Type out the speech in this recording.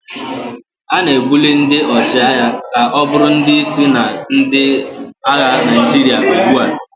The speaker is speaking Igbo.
A na-ebuli ndị ọchịagha ka ọ bụrụ ndị isi na ndị agha Naijiria ugbu a